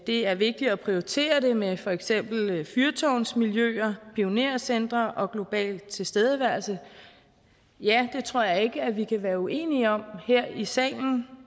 det er vigtigt at prioritere det med for eksempel fyrtårnsmiljøer pionercentre og global tilstedeværelse ja det tror jeg ikke at vi kan være uenige om her i salen